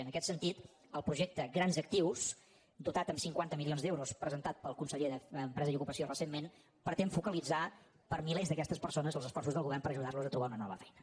en aquest sentit el projecte grans actius dotat amb cinquanta milions d’euros presentat pel conseller d’empresa i ocupació recentment pretén focalitzar per a milers d’aquestes persones els esforços del govern per ajudar los a trobar una nova feina